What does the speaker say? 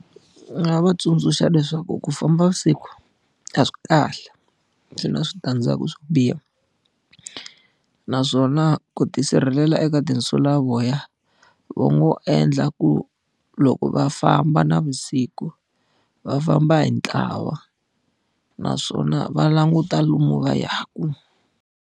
Ni nga va tsundzuxa leswaku ku famba vusiku a swi kahle, swi na switandzhaku swo biha. Naswona ku tisirhelela eka tinsulavoya va ngo endla ku loko va famba navusiku, va famba hi ntlawa naswona va languta lomu va yaka.